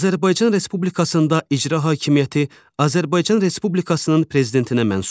Azərbaycan Respublikasında icra hakimiyyəti Azərbaycan Respublikasının Prezidentinə məxsusdur.